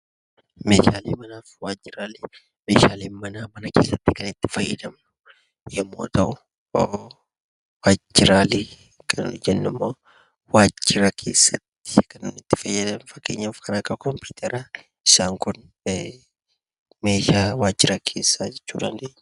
Meeshaaleen manaa mana keessatti kan itti fayyadamnu yommuu ta'u, meeshaalee waajjiraalee kan jennu immoo waajjira keessatti kan itti fayyadamnudha. Akka fakkeenyaatti kompiitara meeshaa waajjiraa jechuu dandeenya.